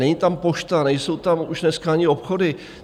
Není tam pošta, nejsou tam už dneska ani obchody.